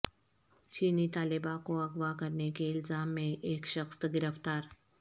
چینی طالبہ کو اغوا کرنے کے الزام میں ایک شخص گرفتار